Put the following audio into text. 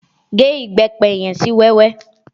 Gé Ìbẹ́pẹ yẹn sí wẹ́wẹ́!